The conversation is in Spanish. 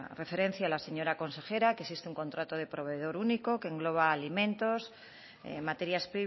referencia la señora consejera que existe un contrato de proveedor único que engloba alimentos materias